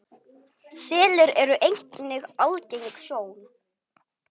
Selir eru einnig algeng sjón.